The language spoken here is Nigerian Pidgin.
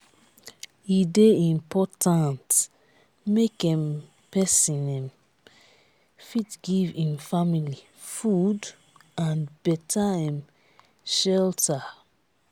e dey important make um pesin um fit give im family food and beta um shelter.